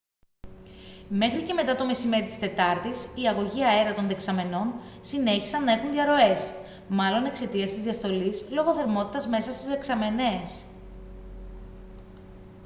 μέχρι και μετά το μεσημέρι της τετάρτης οι αγωγοί αέρα των δεξαμενών συνέχισαν να έχουν διαρροές μάλλον εξαιτίας της διαστολής λόγω θερμότητας μέσα στις δεξαμενές